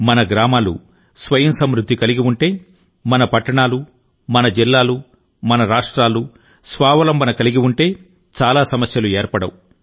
మన గ్రామాలు స్వయం సమృద్ధి కలిగి ఉంటే మన పట్టణాలు మన జిల్లాలు మన రాష్ట్రాలు స్వావలంబన కలిగి ఉంటే చాలా సమస్యలు ఏర్పడవు